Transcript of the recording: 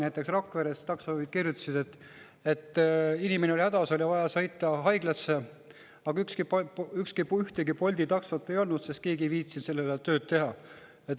Näiteks Rakvere taksojuhid kirjutasid, et inimene oli hädas, oli vaja sõita haiglasse, aga ühtegi Bolti taksot ei olnud, sest keegi ei viitsinud sel ajal tööd teha.